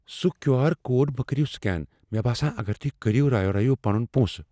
سُہ Q R code مہٕ کٔرِو سکین۔ مےٚ باسان اگر تُہۍ كٔرِو راوٕ رٲیِو پنُن پۄنسہٕ۔